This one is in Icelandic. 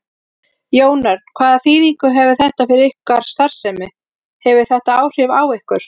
Jón Örn: Hvaða þýðingu hefur þetta fyrir ykkar starfsemi, hefur þetta áhrif á ykkur?